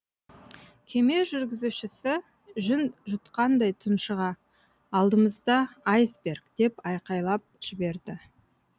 кеме жүргізушісі жүн жұтқандай тұншыға алдымызда айсберг деп айқайлап жіберді